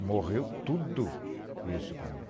Morreu tudo isso para mim.